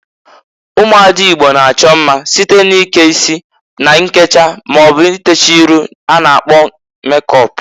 Ụmụada Igbo na-achọ mma site n'ike isi na nkecha maọbụ ntecha iru a na-akpọ mekọp.